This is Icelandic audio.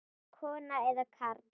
Kona eða karl?